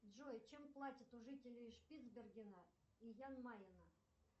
джой чем платят у жителей шпицбергена и ян майена